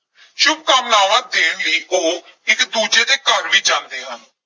ਸ਼ੁਭਕਾਮਨਾਵਾਂ ਦੇਣ ਲਈ ਉਹ ਇਕ ਦੂਜੇ ਦੇ ਘਰ ਵੀ ਜਾਂਦੇ ਹਨ।